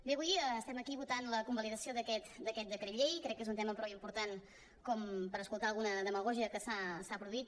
bé avui estem aquí votant la convalidació d’aquest decret llei crec que és un tema prou important com per escoltar alguna demagògia que s’ha produït